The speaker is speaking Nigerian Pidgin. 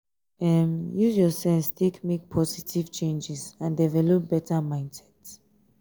um use your sense take make positive um changes and develop better mindset um